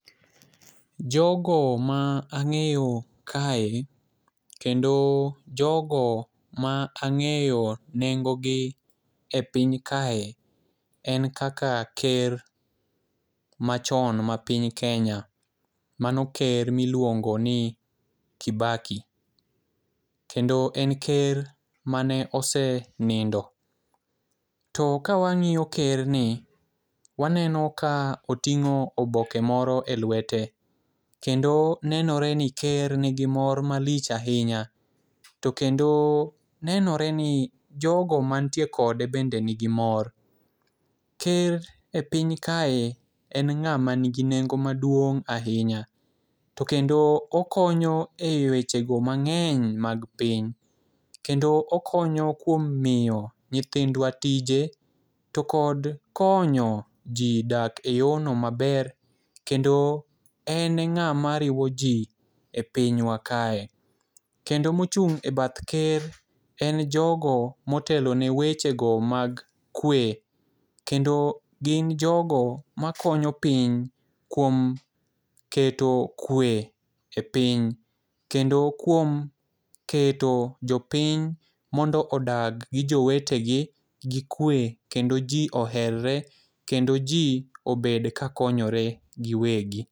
Jogo ma ang'eyo kae kendo jogo ma ang'eyo nengo gi e piny kae en kaka ker machon ma piny kenya mano ker miluongo ni kibaki. Kendo en ker mane osenindo to ka wang'iyo ker ni waneno ka oting'o oboke moro e lwete kendo nenore ni ker nigi mor malich ahinya. To kendo nenore ni jogo mantie kode bende nigi mor. Ker e piny kae en ng'ama nigi nengo maduong' ahinya to kendo okonyo eweche go mang'eny mag piny kendo okonyo kuom miyo nyithindwa tije to kod konyo jii dak e yoo no maber kendo en e ng'ama riwo jii e pinywa kae .Kendo mochung' e bath ker en jogo motelo ne weche go mag kwe kendo gin jogo makonyo piny kuom keto kwe e piny. Kendo kuom keto jopiny mondo odag gi jowetegi gi kwe kendo jii oherre kendo jii obed kakonyore giwegi.